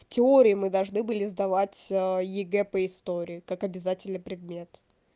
в теории мы должны были сдавать егэ по истории как обязательный предмет